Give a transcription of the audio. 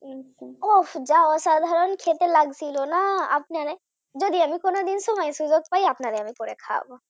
আচ্ছা আহ যা অসাধারণখেতে লাগছিল না আপনারে যদি আমি কোনদিন সময় সুযোগ পাই তাহলে আমি করে খাওয়াবো।